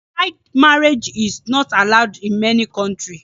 Child marriage is not allowed in many countries